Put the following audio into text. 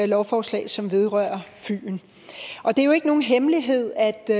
lovforslag som vedrører fyn og det er jo ikke nogen hemmelighed at det